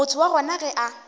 motho wa gona ge a